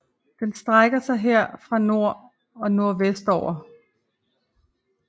Den strækker sig her fra nord og nordvestover